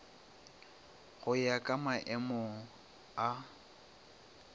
go ya ka maemo a